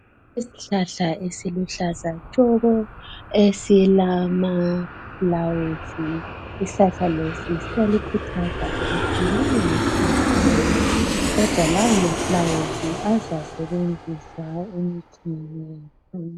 Isihlahla esiluhlaza tshoko esilamafulawuzi. Isihlahla lesi kuyakhuthazwa ukuthi lingasiqumi, kodwa lawo mafulawuzi azasetshenziswa emicimbini.